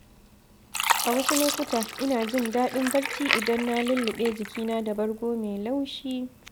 A wasu lokuta, ina jin daɗin barci idan na lulluɓe jikina da bargo mai laushi.